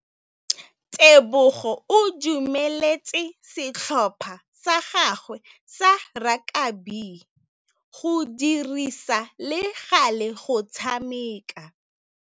Tebogô o dumeletse setlhopha sa gagwe sa rakabi go dirisa le galê go tshameka.